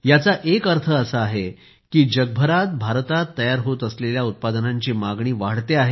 याचा एक अर्थ असा आहे की जगभरात भारतात तयार होत असलेल्या उत्पादनांची मागणी वाढते आहे